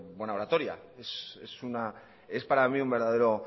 de buena oratoria es para mi un verdadero